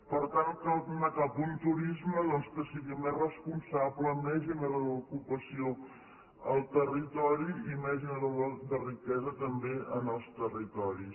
per tant cal anar cap a un turisme doncs que sigui més responsable més generador d’ocupació al territori i més generador de riquesa també en els territoris